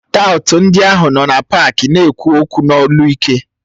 Taụt ndị ahụ nọ na pááki na-ekwu okwu n'olu ike